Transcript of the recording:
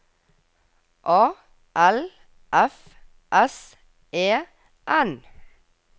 A L F S E N